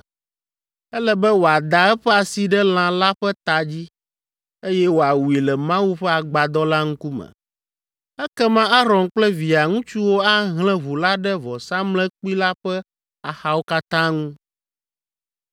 Ele be wòada eƒe asi ɖe lã la ƒe ta dzi, eye wòawui le Mawu ƒe agbadɔ la ŋkume. Ekema Aron kple via ŋutsuwo ahlẽ ʋu la ɖe vɔsamlekpui la ƒe axawo katã ŋu.